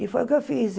E foi o que eu fiz.